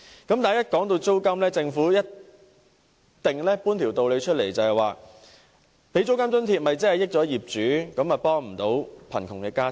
一旦談及租金津貼，政府便一定搬出一大道理，指政府提供租金津貼只會便宜業主，又未能協助貧窮家庭。